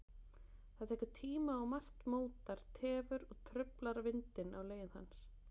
Það tekur tíma og margt mótar, tefur og truflar vindinn á leið hans.